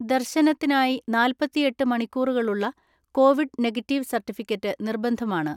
ദർശനത്തിനായി നാല്‍പത്തിഎട്ട് മണിക്കൂറുകളുളള കോവിഡ് നെഗറ്റീവ് സർട്ടിഫിക്കറ്റ് നിർബന്ധമാണ്.